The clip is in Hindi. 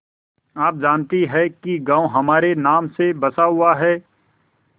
आप जानती हैं कि गॉँव हमारे नाम से बसा हुआ है